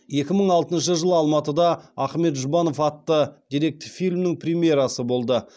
екі мың алтыншы жылы алматыда ахмет жұбанов атты деректі фильмнің премьерасы болды